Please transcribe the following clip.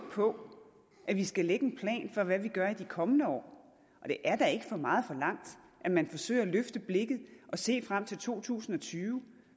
på at vi skal lægge en plan for hvad vi gør i de kommende år og det er da ikke for meget forlangt at man forsøger at løfte blikket og se frem til to tusind og tyve